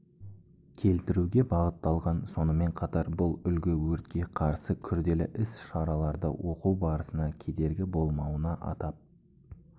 келтіруге бағытталған сонымен қатар бұл үлгі өртке қарсы күрделі іс-шараларды оқу барысына кедергі болмауына атап